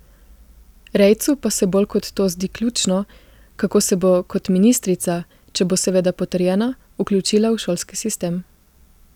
Rejcu pa se bolj kot to zdi ključno, kako se bo kot ministrica, če bo seveda potrjena, vključila v šolski sistem.